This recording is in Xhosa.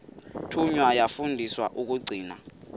thunywa yafundiswa ukugcina